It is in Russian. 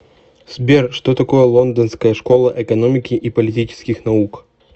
сбер что такое лондонская школа экономики и политических наук